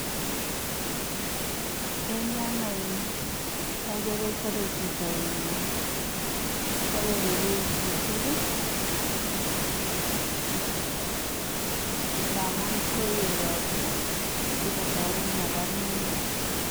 akere chape chito mtaroishek amu koet ropta akotaret mapar mingutik.